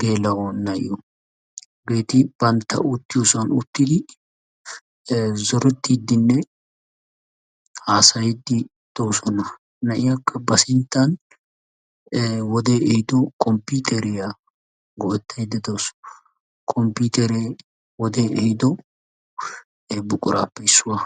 geela'o na'iyo eti banttawu uttiyossan uttidi zorettiddinne haasayiidi de'oosona. Naiyakka ba sinttan wodee ehiiddo komppiiteriyaa goettayda dawusu. Kommppiiteeree wode ehiiddo buquraappe issuwa.